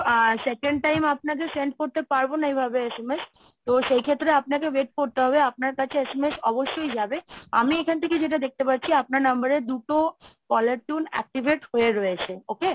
আ second time আপনাকে same করতে পারবো না এইভাবে SMS তো সেই ক্ষেত্রে আপনাকে wait করতে হবে আপনার কাছে SMS অবশ্যই যাবে। আমি এখান থেকে যেটা দেখতে পাচ্ছি আপনার number এ দুটো caller tune activate হয়ে রয়েছে। Okay?